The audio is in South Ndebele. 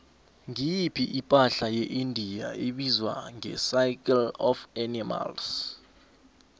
ngiyiphi ipahla yeindia ebizwa ngecircle of animals